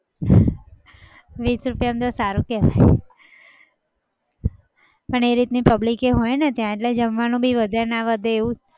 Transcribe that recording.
વીસ રૂપિયામાં સારું કહેવાય પણ એ રીતની public એ હોય ને ત્યાં એટલે જમવાનું પણ વધે ના વધે એવું